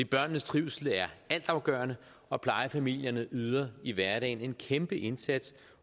børnenes trivsel er altafgørende og plejefamilierne yder i hverdagen en kæmpe indsats